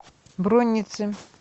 бронницы